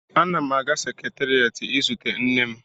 Ana m aga seketerịet izute nne m.